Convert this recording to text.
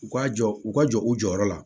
U ka jɔ u ka jɔ u jɔyɔrɔ la